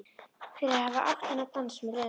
Fyrir að hafa átt þennan dans með Lenu.